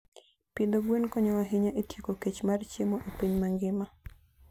Pidho gwen konyo ahinya e tieko kech mar chiemo e piny mangima.